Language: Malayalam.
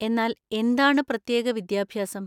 എന്നാൽ, എന്താണ് പ്രത്യേക വിദ്യാഭ്യാസം?